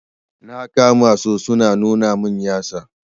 Na kama su su na nuna min yatsa.